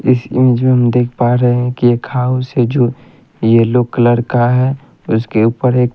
इस इमजे मे हम देख पा रहे है की एक हाउस है जो येलो कलर का है उसके ऊपर एक --